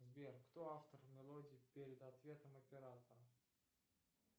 сбер кто автор мелодии перед ответом оператора